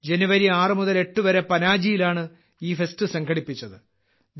ജനുവരി 6 മുതൽ 8 വരെ പനാജിയിലാണ് ഈ ഫെസ്റ്റ് സംഘടിപ്പിച്ചത്